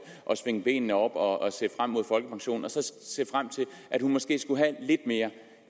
og svinge benene op og se frem mod folkepensionen og så se frem til at hun måske skulle have lidt mere